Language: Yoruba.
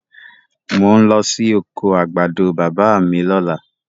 Mò ń lọ sí oko àgbàdo bàbá mi lọ́la.